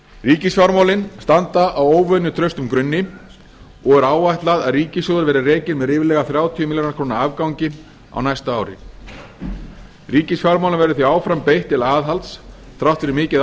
ríkisfjármálin standa á óvenju traustum grunni og er áætlað að ríkissjóður verði rekinn með ríflega þrjátíu milljarða króna afgangi á næsta ári ríkisfjármálum verður því áfram beitt til aðhalds þrátt fyrir mikið átak